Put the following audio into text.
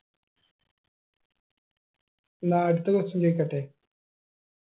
ന്നാ അടുത്ത question ചോയിക്കട്ടെ